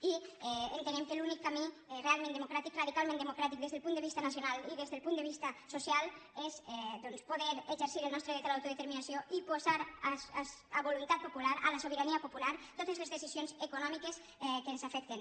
i entenem que l’únic camí realment democràtic radicalment democràtic des del punt de vista nacional i des del punt de vista social és doncs poder exercir el nostre dret a l’autodeterminació i posar a voluntat popular a la sobirania popular totes les decisions econòmiques que ens afecten